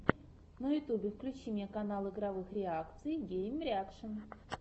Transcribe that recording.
на ютубе включи мне канал игровых реакций геймреакшн